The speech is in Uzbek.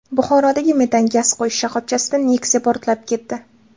Buxorodagi metan gaz quyish shoxobchasida Nexia portlab ketdi .